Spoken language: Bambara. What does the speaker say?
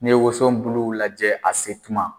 Ni woson bulu lajɛ a se tuma.